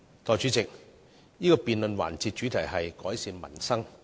代理主席，這項辯論環節的主題是"改善民生"。